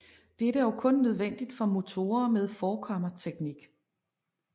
Dette er dog kun nødvendigt for motorer med forkammerteknik